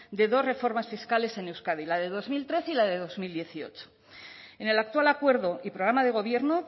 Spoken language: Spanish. de dos reformas fiscales en euskadi la de dos mil trece y la de dos mil dieciocho en el actual acuerdo y programa de gobierno